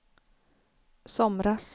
somras